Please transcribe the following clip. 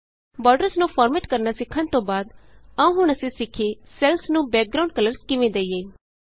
borders ਨੂੰ format ਕਰਨਾ ਸਿੱਖਣ ਤੋਂ ਬਾਅਦ ਆਉ ਹੁਣ ਅਸੀਂ ਸਿੱਖੀਏ ਸੈੱਲਸ ਨੂੰ ਬੈਕਗਰਾਂਉਡ ਕਲਰਸ ਕਿਵੇਂ ਦਈਏ